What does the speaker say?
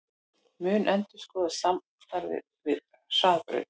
Mun endurskoða samstarfið við Hraðbraut